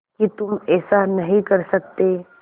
कि तुम ऐसा नहीं कर सकते